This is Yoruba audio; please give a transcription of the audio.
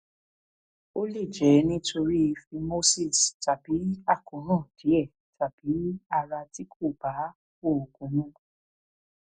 ó lè jẹ nítorí phimosis tàbí àkóràn díẹ tàbí ara tí kò bá oògùn mu